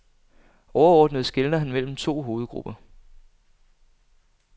Overordnet skelner han mellem to hovedgrupper.